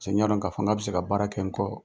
Cɛ ɲ'a dɔn ka fɔ ŋ'a bɛ se ka baara kɛ n kɔ.